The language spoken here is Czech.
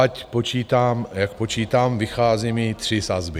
Ať počítám, jak počítám, vychází mi tři sazby.